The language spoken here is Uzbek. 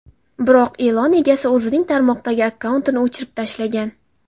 Biroq e’lon egasi o‘zining tarmoqdagi akkauntini o‘chirib tashlagan.